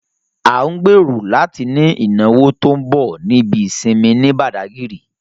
À ń gbèrò láti ní ìnáwó tó ń bọ̀ ní ibi ìsinmi ní Bàdágírì